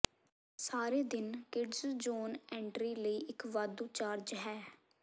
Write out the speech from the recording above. ਸਾਰੇ ਦਿਨ kids zone entry ਲਈ ਇੱਕ ਵਾਧੂ ਚਾਰਜ ਹੈ